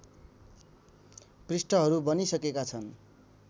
पृष्ठहरू बनिसकेका छन्